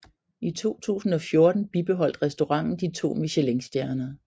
I 2014 bibeholdt restauranten de to michelinstjerner